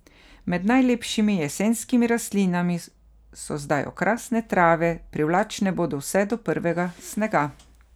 Med najlepšimi jesenskimi rastlinami so zdaj okrasne trave, privlačne bodo vse do prvega snega.